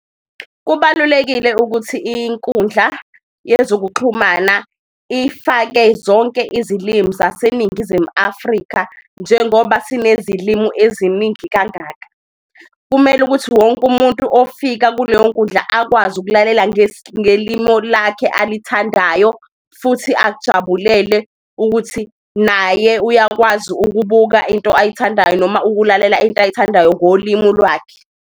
Kubalulekile ukuthi inkundla yezokuxhumana ifake zonke izilimi zaseNingizimu Afrika, njengoba sinezilimu eziningi kangaka. Kumele ukuthi wonke umuntu ofika kuleyo nkundla akwazi ukulalela ngelimo lakhe alithandayo, futhi akujabulele ukuthi naye uyakwazi ukubuka into ayithandayo noma ukulalela into ayithandayo ngolimu lwakhe.